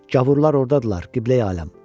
Gavurlar ordadırlar Qibləyi aləm.